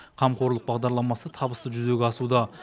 қамқорлық бағдарламасы табысты жүзеге асуда